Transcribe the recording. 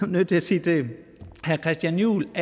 nødt til sige til herre christian juhl